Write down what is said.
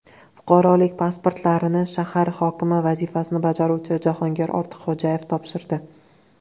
Fuqarolik pasportlarini shahar hokimi vazifasini bajaruvchi Jahongir Ortiqxo‘jayev topshirdi.